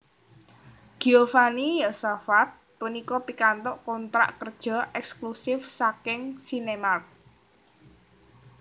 Giovanni Yosafat punika pikantuk kontrak kerja èksklusif saking Sinemart